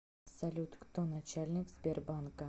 салют кто начальник сбербанка